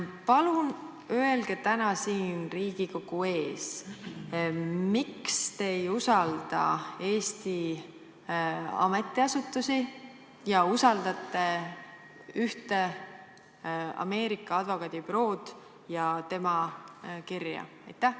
Palun öelge täna siin Riigikogu ees, miks te ei usalda Eesti ametiasutusi ja usaldate ühte Ameerika advokaadibürood ja tema kirja?